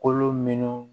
Kolo minɛnw